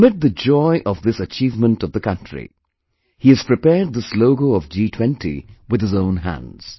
Amid the joy of this achievement of the country, he has prepared this logo of G20 with his own hands